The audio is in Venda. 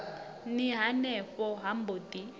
ni henefho ha mbo ḓi